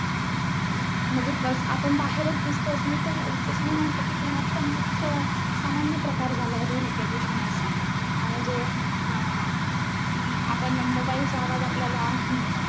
म्हणजे बस आपण बाहेरच दिसतो असं नाही तर, जसं मी म्हंटल कि, घरातपण हा खूप अं सामान्य प्रकार झालाय ध्वनीप्रदूषणाचा. म्हणजे आह अं आपण mobile चा आवाज आपल्याल